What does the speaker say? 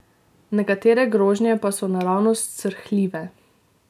Nekatere grožnje pa so naravnost srhljive.